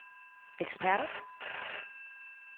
eksperter